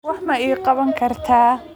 Wax ma ii qaban kartaa?